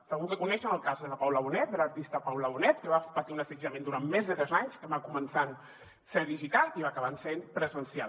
segur que coneixen el cas de la paula bonet de l’artista paula bonet que va patir un assetjament durant més de tres anys que va començar sent digital i va acabar sent presencial